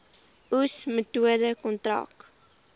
oes metode kontrak